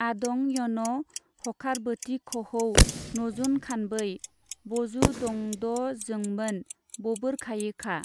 आदं यन' हखारबोतिखहौ नजुनखानबै बजुदंदजोंबोन- बबोरखायिखा।